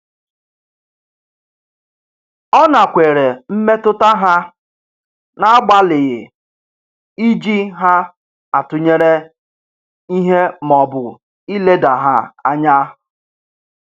Ọ nakweere mmetụta ha n'agbalịghị iji ha atụnyere ihe maọbụ ileda ha anya.